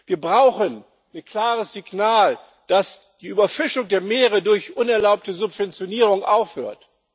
Wir brauchen ein klares Signal, dass die Überfischung der Meere durch unerlaubte Subventionierung aufhört.